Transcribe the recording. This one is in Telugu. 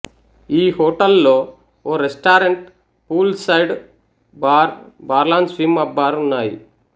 ఈ హోటల్లో ఓ restaurant pool side bar bar lounge swim up bar ఉన్నాయి